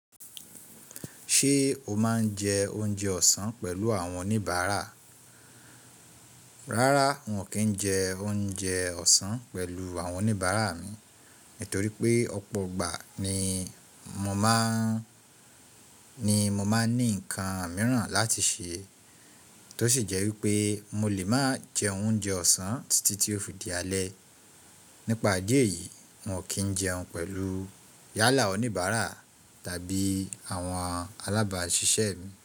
Ṣé o máa ń jẹ oúnjẹ ọ̀sán pẹ̀lú àwọn oníbàárà? Rárá, wọn kì í jẹ oúnjẹ ọ̀sán pẹ̀lú àwọn oníbàárà mi, nítorí pé ọ̀pọ̀ ìgbà ni mo ni mo máa ń ní ńǹkan mìíràn láti ṣe tó sì jẹ́ wípé mo lè máa jẹ oúnjẹ ọ̀sán títí tí ó fi di alẹ́. Nípa idí ẹ̀yí, wọn kì n jẹun pẹ̀lú yálà oníbàárà tàbí àwọn alábàáṣiṣẹ́ mi.